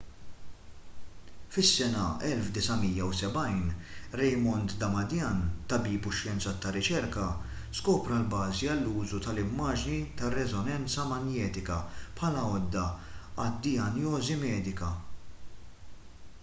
fis-sena 1970 raymond damadian tabib u xjenzat tar-riċerka skopra l-bażi għall-użu tal-immaġni tar-reżonanza manjetika bħala għodda għad-dijanjosi medika